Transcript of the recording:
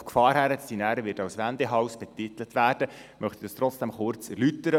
Auf die Gefahr hin, danach als «Wendehals» betitelt zu werden, möchte ich es trotzdem kurz erläutern.